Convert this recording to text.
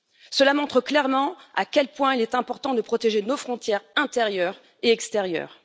Cela montre clairement à quel point il est important de protéger nos frontières intérieures et extérieures.